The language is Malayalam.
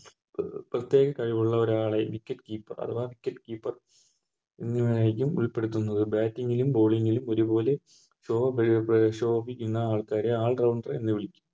പ്രേത്യേകം കഴിവുള്ളൊരാളെ Wicket keeper അഥവാ Wicket keeper എന്നിതിലരിക്കും ഉൾപ്പെടുത്തുന്നത് Bating ലും Bowling ലും ഒരുപോലെ ശോഭിക്കുന്ന ഒര് All rounder എന്ന് വിളിക്കും